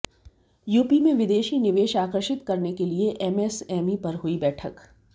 UP में विदेशी निवेश आकर्षित करने के लिए एमएसएमई पर हुई बैठक